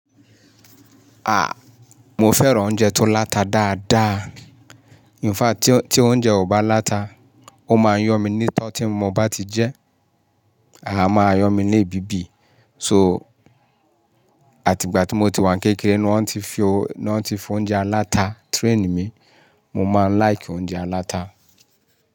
Ah! Mo fẹ́ràn oúnjẹ tó láta dáadáa. In fact, tí oúnjẹ ò bá láta, ó máa yọ́ mi ní tọ́ tí mo bá ti jẹ́, à máa yọ mí ní bíbí. So, àti ìgbà tí mo ti wà kékeré ni wọ́n ti fi oúnjẹ alata train mi. Mo máa ń like oúnjẹ alata.